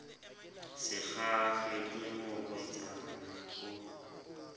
sa kgahlwe ke morwetsana o